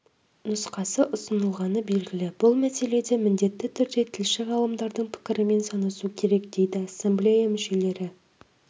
нұсқасы ұсынылғаны белгілі бұл мәселеде міндетті түрде тілші ғалымдардың пікірімен санасу керек дейді ассамблея мүшелері